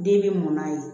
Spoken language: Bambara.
Den bɛ mun na yen